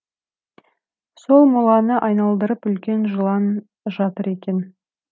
сол моланы айналдырып үлкен жылан жатыр екен